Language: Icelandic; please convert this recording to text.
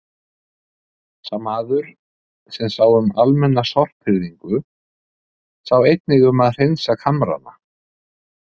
Sá maður, sem sá um almenna sorphirðingu, sá einnig um að hreinsa kamrana.